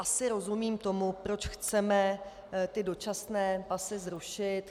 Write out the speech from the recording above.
Asi rozumím tomu, proč chceme ty dočasné pasy zrušit.